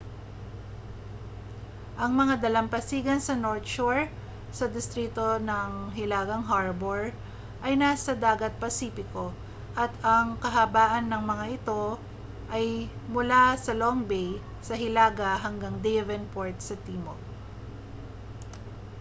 ang mga dalampasigan sa north shore sa distrito ng hilagang harbour ay nasa dagat pasipiko at ang kahabaan ng mga ito ay mula sa long bay sa hilaga hanggang devonport sa timog